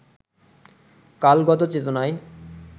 কালগত চেতনায়